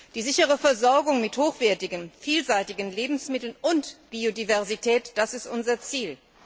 Die sichere Versorgung mit hochwertigen, vielseitigen Lebensmitteln und Biodiversität Das ist unser Ziel.